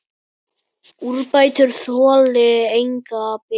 Úrbætur þoli enga bið.